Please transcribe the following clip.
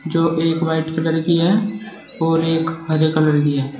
जो एक white colour की है और एक हरे कलर की है।